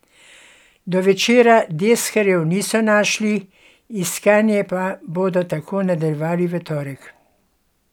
Do večera deskarjev niso našli, iskanje pa bodo tako nadaljevali v torek.